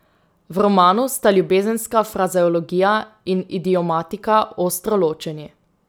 V romanu sta ljubezenska frazeologija in idiomatika ostro ločeni.